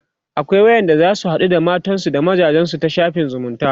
akwai wayanda zasu haɗu da matansu da mazajensu ta shafin zumunta